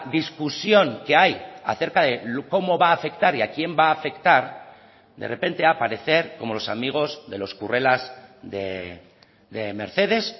discusión que hay acerca de cómo va a afectar y a quién va a afectar de repente aparecer como los amigos de los currelas de mercedes